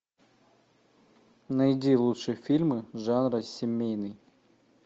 найди лучшие фильмы жанра семейный